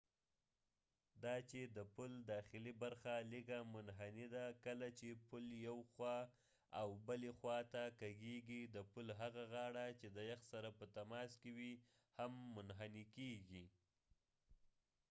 دا چې د پل داخلی برخه لږه منحنی ده کله چې پول یو خوا او بلی خوا ته کږیګی د پول هغه غاړه چې د یخ سره په تماس کې وي هم منحنی کېږی